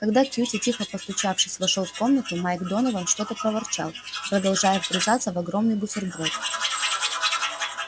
когда кьюти тихо постучавшись вошёл в комнату майк донован что-то проворчал продолжая вгрызаться в огромный бутерброд